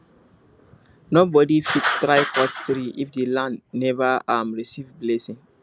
nobody fit try cut tree if the land never um receive blessing